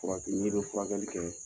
Furadon ni bɛ furakɛli kɛ